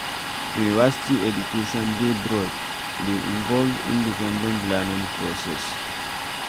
University education dey broad, e dey involve independent learning process